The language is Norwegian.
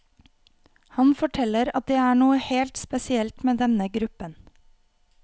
Han forteller at det er noe helt spesielt med denne gruppen.